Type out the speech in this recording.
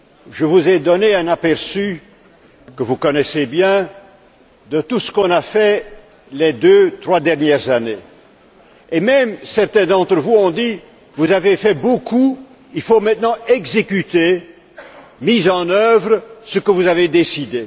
Je vous ai donné un aperçu, que vous connaissez bien, de tout ce qu'on a fait les deux, trois dernières années, et même certains d'entre vous ont dit Vous avez fait beaucoup, il faut maintenant exécuter, mettre en œuvre ce que vous avez décidé.